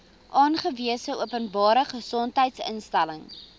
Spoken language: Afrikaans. aangewese openbare gesondheidsinstelling